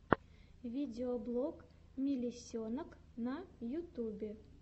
видеоблог мелисенок на ютюбе